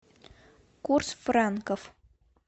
курс франков